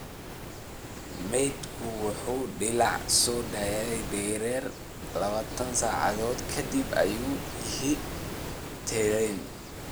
Maydku wuu dilaacaa oo soo daayaa dareere 24 saacadood ka dib,” ayuu yidhi Terán.